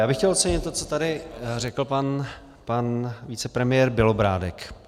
Já bych chtěl ocenit to, co tady řekl pan vicepremiér Bělobrádek.